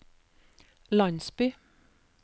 landsby